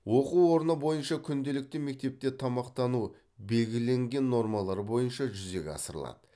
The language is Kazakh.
оқу орны бойынша күнделікті мектепте тамақтану белгіленген нормалар бойынша жүзеге асырылады